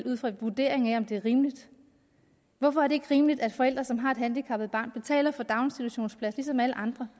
ud fra en vurdering af om det er rimeligt hvorfor er det ikke rimeligt at forældre som har et handicappet barn betaler for en daginstitutionsplads ligesom alle andre